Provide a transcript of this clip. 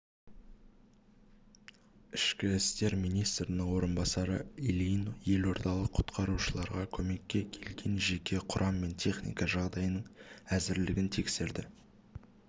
ішкі істер министрінің орынбасары ильин елордалық құтқарушыларға көмекке келген жеке құрам мен техника жағдайының әзірлігін тексерді